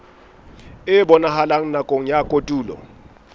e bonahalang nakong ya kotulo